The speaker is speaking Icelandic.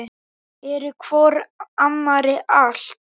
Eru hvor annarri allt.